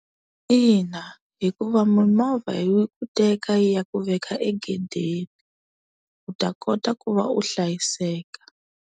Ina, hikuva mimovha yi ku teka yi ya ku veka egedeni. U ta kota ku va u hlayiseka.